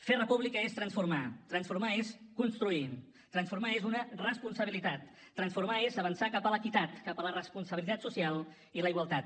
fer república és transformar transformar és construir transformar és una responsabilitat transformar és avançar cap a l’equitat cap a la responsabilitat social i la igualtat